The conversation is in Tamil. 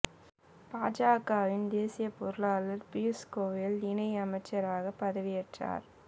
பாஜகவின் தேசிய பொருளாளர் பியூஸ் கோயல் இணை அமைச்சராக பதவி ஏற்றார்